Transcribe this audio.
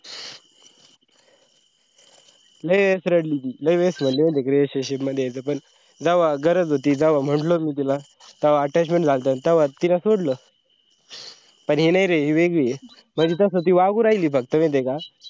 लै वेळेस रडली ती, लै वेळेस म्हणाली माहिती का relationship मध्ये यायचा पण जेव्हा गरज होती जेव्हा म्हणालो मी तिला तेव्हा attachment झालात तवा तीन सोडलं पण हे नाई रे हे वेगळी म्हणजे तसा ती वागून राहिली फक्त माहिती का